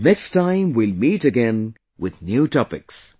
Next time we will meet again with new topics